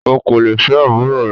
O kò lè fẹ́ àbúrò rẹ.